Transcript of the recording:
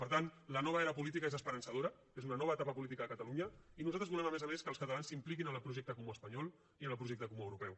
per tant la nova era política és esperançadora és una nova etapa política a catalunya i nosaltres volem a més a més que els catalans s’impliquin en el projecte comú espanyol i en el projecte comú europeu